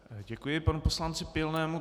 Děkuji panu poslanci Pilnému.